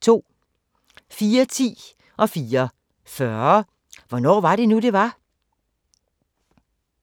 04:10: Hvornår var det nu, det var? 04:40: Hvornår var det nu, det var?